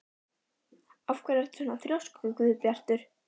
Af hverju ertu svona þrjóskur, Guðbjartur?